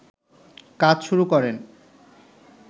কাজ শুরু করেন